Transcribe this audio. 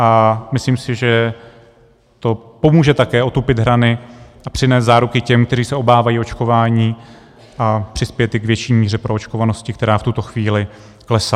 A myslím si, že to pomůže také otupit hrany a přinést záruky těm, kteří se obávají očkování, a přispět i k větší míře proočkovanosti, která v tuto chvíli klesá.